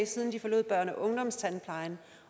siden de forlod børne og ungdomstandplejen